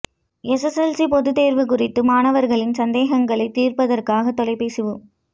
SSLC பொதுத் தேர்வு குறித்து மாணவர்களின் சந்தேகங்களை தீர்ப்பதற்காக தொலைபேசி உ